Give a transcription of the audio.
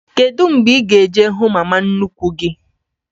Kedụ mgbe ị ga- eje hụ mama nnukwu gị?